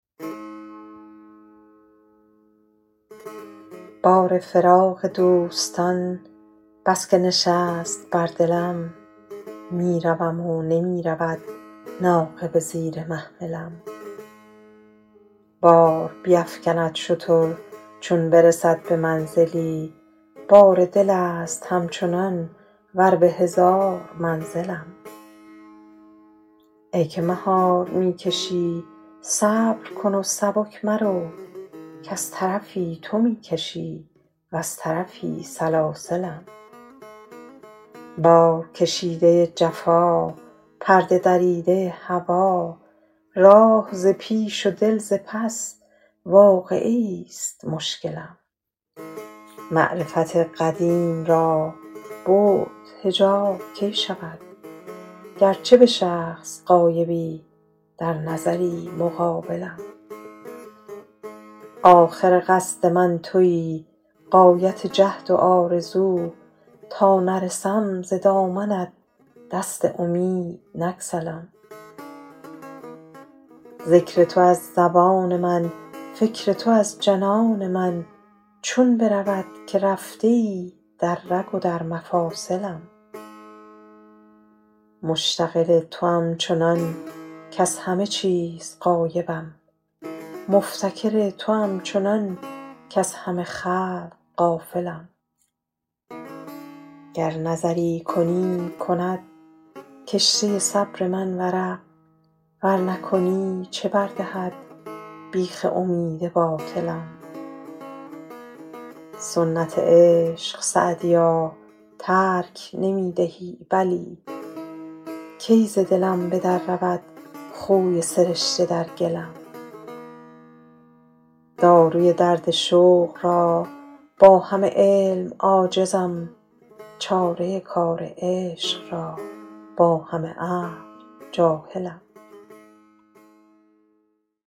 بار فراق دوستان بس که نشست بر دلم می روم و نمی رود ناقه به زیر محملم بار بیفکند شتر چون برسد به منزلی بار دل است همچنان ور به هزار منزلم ای که مهار می کشی صبر کن و سبک مرو کز طرفی تو می کشی وز طرفی سلاسلم بارکشیده ی جفا پرده دریده ی هوا راه ز پیش و دل ز پس واقعه ایست مشکلم معرفت قدیم را بعد حجاب کی شود گرچه به شخص غایبی در نظری مقابلم آخر قصد من تویی غایت جهد و آرزو تا نرسم ز دامنت دست امید نگسلم ذکر تو از زبان من فکر تو از جنان من چون برود که رفته ای در رگ و در مفاصلم مشتغل توام چنان کز همه چیز غایبم مفتکر توام چنان کز همه خلق غافلم گر نظری کنی کند کشته صبر من ورق ور نکنی چه بر دهد بیخ امید باطلم سنت عشق سعدیا ترک نمی دهی بلی کی ز دلم به در رود خوی سرشته در گلم داروی درد شوق را با همه علم عاجزم چاره کار عشق را با همه عقل جاهلم